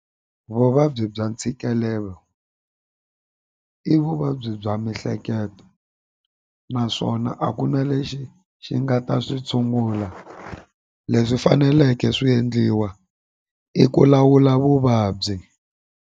Vuvabyi bya ntshikelelo i vuvabyi bya miehleketo naswona a ku na lexi xi nga ta swi tshungula leswi faneleke swi endliwa i ku lawula vuvabyi.